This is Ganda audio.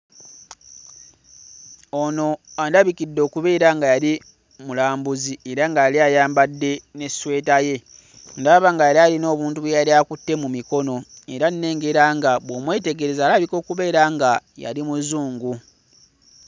Ono andabikidde okubeera nga yali mulambuzi era nga yali ayambadde n'essweta ye. Ndaba nga yali ayina obuntu bwe yali akutte mu mikono era nnengera nga bw'omwetegereza alabika okubeera nga yali muzungu.